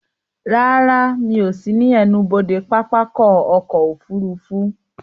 Rárá, Mi ò sí ní ẹnubodè pápákọ̀ ọ̀kọ òfurufú